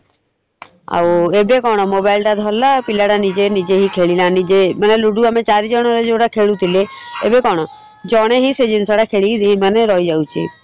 ଆଉ ଏବେ କଣ mobile ଟା ଧରିଲା ପିଲାଟା ନିଜେ ନିଜେ ଖେଳିଲା ନିଜେ ମାନେ ଲୁଡୁ ଆମେ ଚାରି ଜଣ ଯଉଟା ଖେଳୁଥିଲେ ଏବେ କଣ ଜଣେ ହିଁ ସେଇ ଜିନିଷଟା ଖେଳିକି ମାନେ ରହିଯାଉଛି ।